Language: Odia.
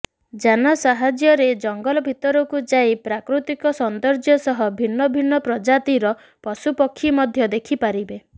ଯାନ ସାହାଯ୍ୟରେ ଜଙ୍ଗଲ ଭିତରକୁ ଯାଇ ପ୍ରାକୃତିକ ସୌନ୍ଦର୍ଯ୍ୟ ସହ ଭିନ୍ନ ଭିନ୍ନ ପ୍ରଜାତିର ପଶୁପକ୍ଷୀ ମଧ୍ୟ ଦେଖିପାରିବେ